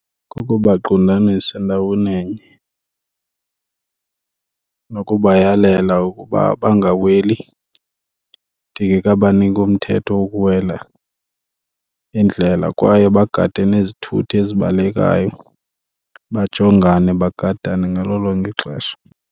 Kukubaqundanisa ndawoninye nokubayalela ukuba bangaweli ndikekabaniki umthetho wokuwela indlela kwaye bagade nezithuthi ezibalekayo, bajongane bagadane ngalo lonke ixesha.